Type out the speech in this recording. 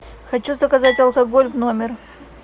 хочу заказать алкоголь в номер